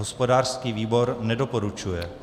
Hospodářský výbor nedoporučuje.